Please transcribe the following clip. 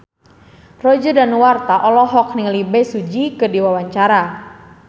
Roger Danuarta olohok ningali Bae Su Ji keur diwawancara